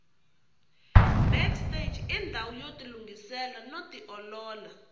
backstage indawu yotilungisela noti olola